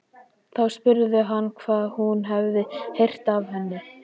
Þá spurði hann hvað hún hefði heyrt af henni.